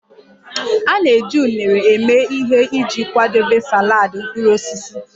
A na-eji unere eme ihe iji kwadebe saladị mkpụrụ osisi